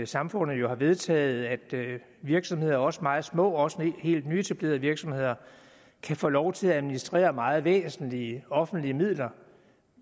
samfundet jo har vedtaget at virksomheder også meget små og også helt nyetablerede virksomheder kan få lov til at administrere meget væsentlige offentlige midler